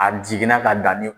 A jiginna ka danni